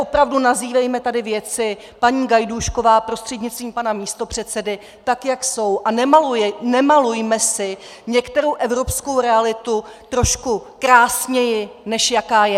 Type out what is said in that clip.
Opravdu nazývejme tady věci, paní Gajdůšková prostřednictvím pana místopředsedy, tak, jak jsou, a nemalujme si některou evropskou realitu trošku krásněji, než jaká je.